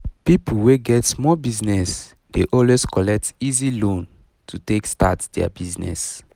people wey get small business dey always collect easy loan to take start their business